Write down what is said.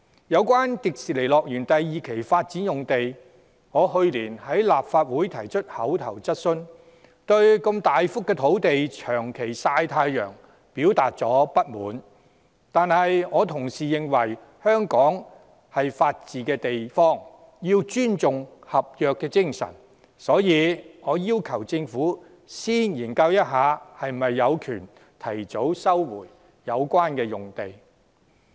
有關迪士尼樂園第二期發展用地，我去年在立法會提出口頭質詢，對如此大幅的土地長期"曬太陽"表達不滿，但我同時認為，香港是法治的地方，須尊重合約精神，所以我要求政府先研究是否有權提早收回相關用地。